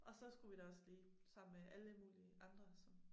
Og så skulle vi da også lige sammen med alle mulige andre som